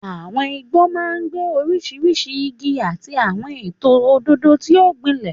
Àwọn igbó máa ń gbé oríṣiríṣi igi àti àwọn ètò òdòdó tí ó gbilẹ̀.